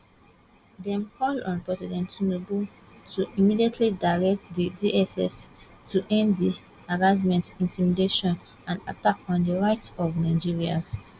dem call on president tinubu to immediately direct di dss to end di harassment intimidation and attack on di rights of nigerians